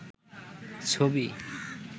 ছবি